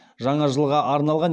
жаңа жылға арналған